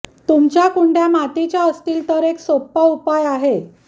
तुमच्या कुंड्या मातीच्या असतील तर एक सोपा उपाय आहे